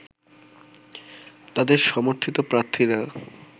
তাদের সমর্থিত প্রার্থীরা